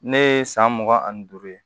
Ne ye san mugan ani duuru ye